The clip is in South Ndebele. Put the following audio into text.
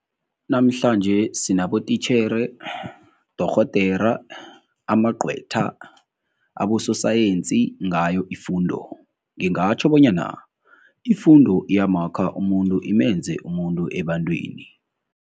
Namhlanje sinabotitjhere, dorhodere, amaqhwetha, abososayensi ngayo ifundo. Ngingatjho bonyana Ifundo iyamakha umuntu imenze umuntu ebantwini.